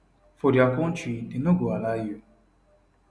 for dia kontri dem no go allow you